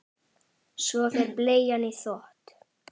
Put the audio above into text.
Svo fer bleian í þvott.